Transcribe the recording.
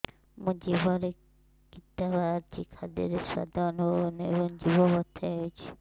ମୋ ଜିଭରେ କିଟା ବାହାରିଛି ଖାଦ୍ଯୟରେ ସ୍ୱାଦ ଅନୁଭବ ହଉନାହିଁ ଏବଂ ଜିଭ ବଥା ହଉଛି